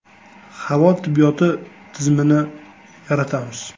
Havo tibbiyoti tizimini yaratamiz.